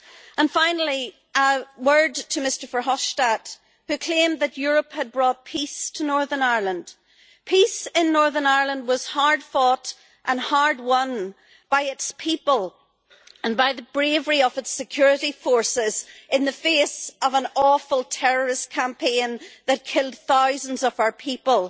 And finally, a word to Mr Verhofstadt, who claimed that Europe had brought peace to Northern Ireland peace in Northern Ireland was hard fought and hard won by its people and by the bravery of its security forces in the face of an awful terrorist campaign, that killed thousands of our people.